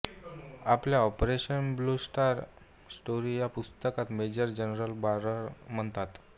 आपल्या operation blue star a true story या पुस्तकात मेजर जनरल बरार म्हणतात